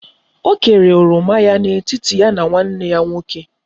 O kere oroma ya na etiti ya na nwanne ya nwoke